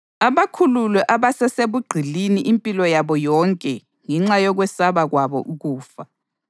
abakhulule ababesebugqilini impilo yabo yonke ngenxa yokwesaba kwabo ukufa.